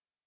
पाते हैं